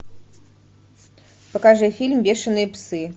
покажи фильм бешеные псы